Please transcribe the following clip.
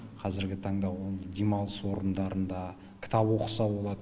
қазіргі таңда ол демалыс орнындарында кітап оқыса болады